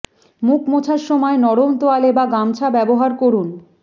মুখ মোছার সময় নরম তোয়ালে বা গামছা ব্যবহার করুন